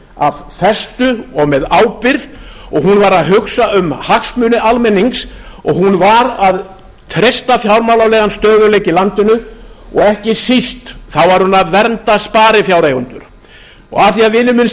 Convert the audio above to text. af festu og með ábyrgð og hún var að hugsa um hagsmuni almennings og hún var að treysta fjármálalegan stöðugleika í landinu og ekki síst var hún að vernda sparifjáreigendur af því að vinur minn